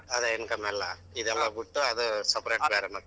ಅದೆ income ಎಲ್ಲಾ ಇದೆಲ್ಲಾ ಬುಟ್ಟು ಅದೇ separate ಬ್ಯಾರೆ ಮತ್ತ.